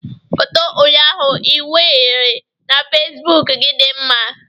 Foto ụnyaahụ ị wụnyere na facebook gị dị mma